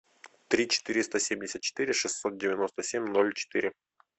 три четыреста семьдесят четыре шестьсот девяносто семь ноль четыре